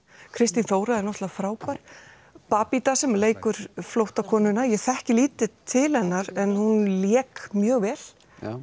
Kristín Þóra var náttúrulega frábær babita sem leikur ég þekki lítið til hennar en hún lék mjög vel